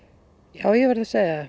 já ég verð að segja